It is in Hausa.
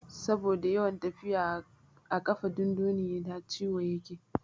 Saboda yawan tafiya a ƙafa dundunayi ta ciwon yake.